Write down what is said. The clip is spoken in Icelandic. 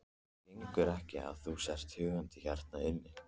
Það gengur ekki að þú sért húkandi hérna inni.